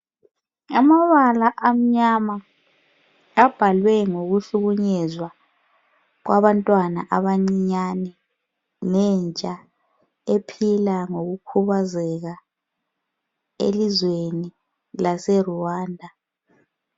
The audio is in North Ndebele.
Amabala amnyama abhalwe ngokuhlukunyezwa kwabantwana abancinyane lentsha ephila ngokukhubazela elizweni lase Rwanda.